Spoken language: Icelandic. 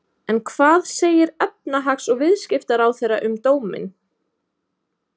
En hvað segir efnahags- og viðskiptaráðherra um dóminn?